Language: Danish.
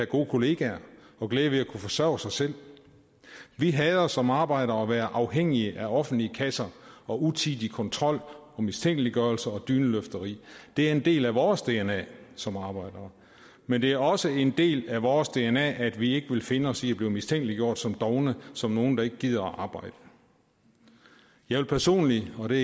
gode kollegaer og glæde ved at kunne forsørge sig selv vi hader som arbejdere at være afhængige af offentlige kasser utidig kontrol mistænkeliggørelse og dyneløfteri det er en del af vores dna som arbejdere men det er også en del af vores dna at vi ikke vil finde os i at blive mistænkeliggjort som dovne som nogle der ikke gider arbejde jeg vil personligt og det